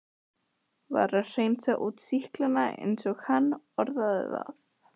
Var að hreinsa út sýklana eins og hann orðaði það.